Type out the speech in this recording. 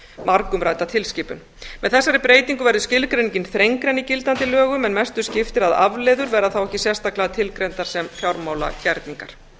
margumrædda tilskipun með þessari breytingu verður skilgreiningin þrengri en í gildandi lögum en mestu skiptir að afleiður verða þá ekki sérstaklega tilgreindar sem fjármálagerningar